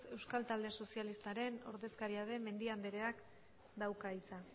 euskal talde sozialistaren ordezkaria den mendia andreak dauka hitza